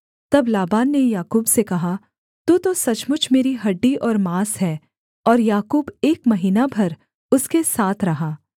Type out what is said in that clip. तब लाबान ने याकूब से कहा तू तो सचमुच मेरी हड्डी और माँस है और याकूब एक महीना भर उसके साथ रहा